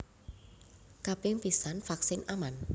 Kaping pisan vaksin aman